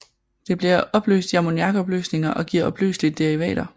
Det bliver opløst i ammoniakopløsninger og giver opløselige derivater